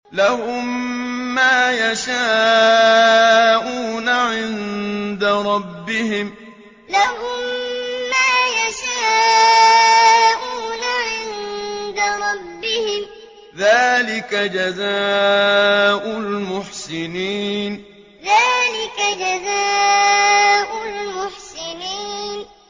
لَهُم مَّا يَشَاءُونَ عِندَ رَبِّهِمْ ۚ ذَٰلِكَ جَزَاءُ الْمُحْسِنِينَ لَهُم مَّا يَشَاءُونَ عِندَ رَبِّهِمْ ۚ ذَٰلِكَ جَزَاءُ الْمُحْسِنِينَ